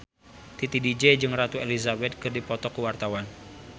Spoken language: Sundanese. Titi DJ jeung Ratu Elizabeth keur dipoto ku wartawan